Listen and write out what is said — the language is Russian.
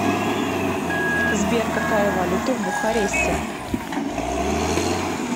сбер какая валюта в бухаресте